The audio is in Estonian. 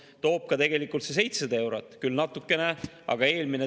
Ehk tulumaksuvabastuse tõus 500 eurolt 654 eurole sellest aastast on nendele inimestele raha juurde toonud.